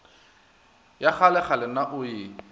ya kgalekgale na o e